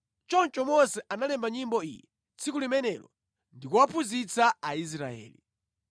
Choncho Mose analemba nyimbo iyi tsiku limenelo ndi kuwaphunzitsa Aisraeli.